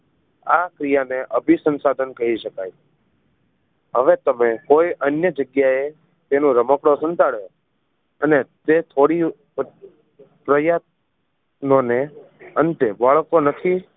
આ ક્રિયા ને અભિસંસાધન કહી શકાય હવે તમે કોઈ અન્ય જગ્યાએ તેનું રમકડું સંતાડો અને તે થોડી પ્રયોતન ને અંત